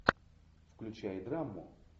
включай драму